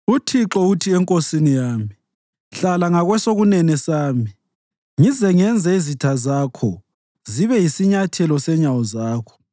UThixo uthi enkosini yami: “Hlala ngakwesokunene sami ngize ngenze izitha zakho zibe yisinyathelo senyawo zakho.”